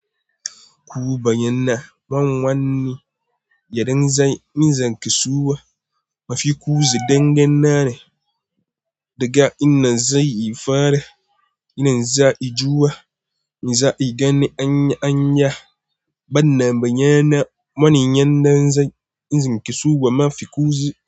Ku bayyana man wanne yan zanzan kasuwa mafi ku zai dangannare daga inda zai fara, inda zai juwa, inda zai gani anyi anya, ban na bayyana manin yan zanzan kasuwa mafi kusa.